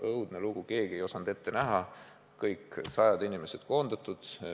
Õudne lugu, keegi ei osanud seda ette näha, sajad inimesed koondatud.